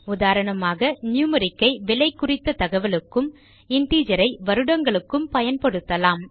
உதாரணமாக நியூமெரிக் ஐ விலை குறித்த தகவலுக்கும் இன்டிஜர் ஐ வருடங்களுக்கும் பயன்படுத்தவும்